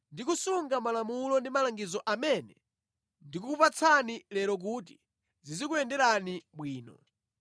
ndi kusunga malamulo ndi malangizo amene ndikukupatsani lero kuti zizikuyenderani bwino.